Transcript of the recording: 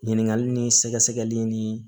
Ɲininkali ni sɛgɛsɛgɛli ni